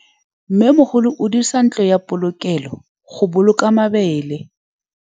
Mmêmogolô o dirisa ntlo ya polokêlô, go boloka mabele.